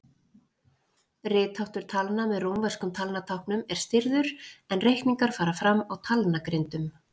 Ritháttur talna með rómverskum talnatáknum er stirður en reikningar fara fram á talnagrindum.